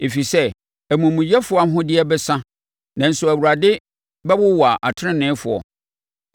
ɛfiri sɛ, amumuyɛfoɔ ahoɔden bɛsa nanso Awurade bɛwowa ateneneefoɔ.